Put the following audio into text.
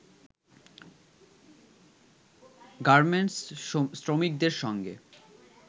garments শ্রমিকদের সঙ্গে